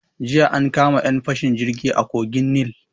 Jiya an kama 'yan fashin jirgi a kogin Nil.